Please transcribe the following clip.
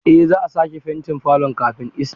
Eh za'a sake fentin falon kafin Ista.